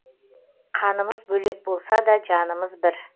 қанымыз бөлек болса да жанымыз бір